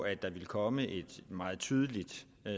at der ville komme et meget tydeligt